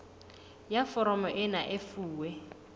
ya foromo ena e fuwe